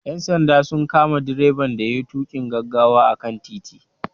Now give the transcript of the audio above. Ƴan sanda sun kama direban da yayi tuƙin gaggawa a kan titi.